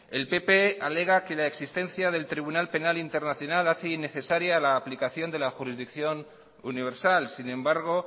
el pp alega que la existencia del tribunal penal internacional hace innecesaria la aplicación de la jurisdicción universal sin embargo